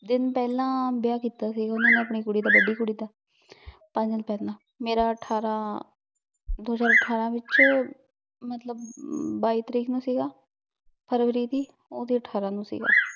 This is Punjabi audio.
ਪੇਹ੍ਲਾਂ ਵਿਯਾਹ ਕੀਤਾ ਸੀ ਓਹਨਾਂ ਨੇ ਆਪਣੀ ਕੁੜੀ ਦਾ ਬਡ਼ੀ ਕੁੜੀ ਦਾ ਪੰਜ ਦਿਨ ਪੇਹ੍ਲਾਂ ਮੇਰਾ ਅਠਾਰਾਂ ਦੋ ਹਜ਼ਾਰ ਅਠਾਰਾਂ ਵਿੱਚੋ ਮਤਲਬ ਵਾਯੀ ਤਾਰੀਖ ਨੂ ਸੀਗਾ ਫਰਵਰੀ ਦੀ ਓਹਦੇ ਅਠਾਰਾਂ ਨੂ ਸੀਗਾ